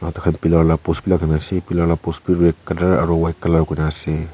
pillar la post bi lagai na ase pillar la post bi red colour aru white kurina ase.